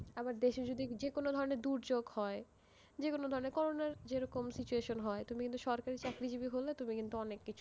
আবার দেশে যদি যেকোনো ধরনের দুর্যোগ হয়, যেকোনো ধরনের, করোনার যেরকম situation হয়, তুমি কিন্তু সরকারি চাকুরিজীবি হলে, তুমি কিন্তু অনেক কিছু,